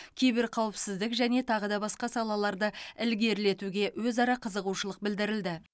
киберқауіпсіздік және тағы да басқа салаларды ілгерілетуге өзара қызығушылық білдірілді